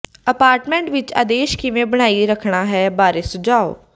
apartment ਵਿੱਚ ਆਦੇਸ਼ ਕਿਵੇਂ ਬਣਾਈ ਰੱਖਣਾ ਹੈ ਬਾਰੇ ਸੁਝਾਅ